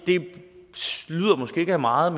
det lyder måske ikke af meget